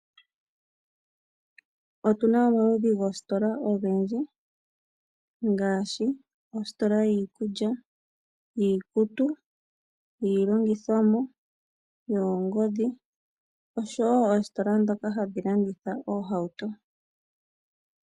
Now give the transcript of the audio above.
Otuna omaludhi goostola ogendji ngaashi ostola yiikulya, yiikutu, yii longithomwa yoongodhi, osho wo oostola ndhoka hadhi landitha oohauto.